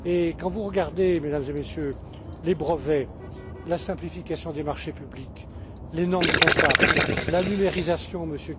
Quand vous regardez, Mesdames et Messieurs, les brevets, la simplification des marchés publics, les normes comptables, la numérisation,